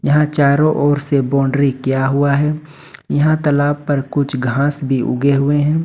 यहां चारों ओर से बाउंड्री किया हुआ है यहां तलाब पर कुछ घास भी उगे हुए हैं।